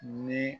Ni